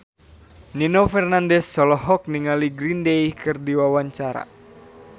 Nino Fernandez olohok ningali Green Day keur diwawancara